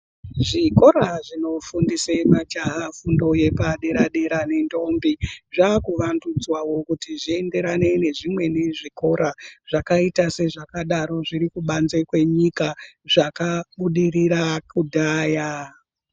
Zvikora zvinofundise majaha fundo yepadera dera nentombi zvakuvandudzwawo kuti zvienderane nezvimweni zvikora zvakaita sezvakadaro zvikubanze kwenyika zvakabudirira kudhaya.